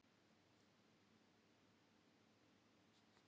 Alltaf var stokkað upp í landlegum.